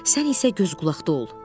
Sən isə göz qulaqda ol.